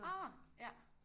Åh ja